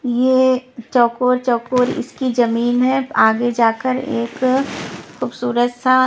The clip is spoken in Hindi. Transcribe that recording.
ये चौकोर चौकोर इसकी जमीन है आगे जाकर एक खूबसूरत सा --